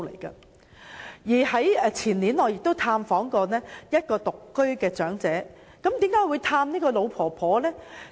我在前年曾探訪一名獨居長者，為何我要拜訪這位老婆婆呢？